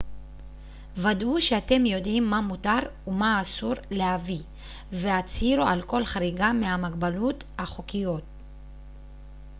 ודאו שאתם יודעים מה מותר ומה אסור להביא והצהירו על כל חריגה מהמגבלות החוקיות